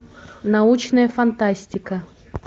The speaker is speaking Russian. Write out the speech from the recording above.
научная фантастика